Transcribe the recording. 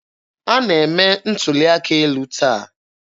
A na-eme ntuli aka elu taa.